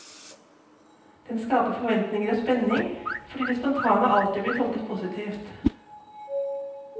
Den skaper forventninger og spenning, fordi det spontane alltid blir tolket positivt.